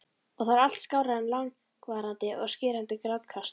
Og það var allt skárra en langvarandi og skerandi grátkast.